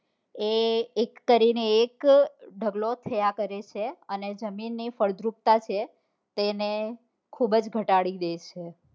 એ એક કરીને એક ઢગલો થયા કરે છે અને જમીન ની ફળદ્રુપતા છે તેને ખુબ જ ઘટાડી દે છે